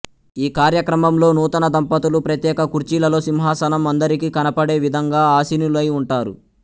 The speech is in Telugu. ఈ కార్యక్రమంలో నూతన దంపతులు ప్రత్యేక కుర్చీలలో సింహాసనం అందరికి కనపడే విధంగా ఆశీనులై ఉంటారు